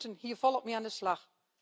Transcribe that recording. We moeten hier volop mee aan de slag.